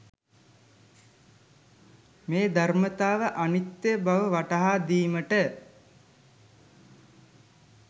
මේ ධර්මතාව අනිත්‍ය බව වටහා දීමට